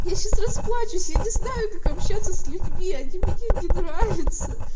я сейчас расплачусь я не знаю как общаться с людьми они мне не нравятся